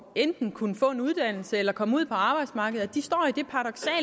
enten at kunne få en uddannelse eller komme ud på arbejdsmarkedet står